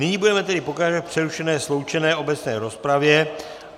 Nyní tedy budeme pokračovat v přerušené sloučené obecné rozpravě.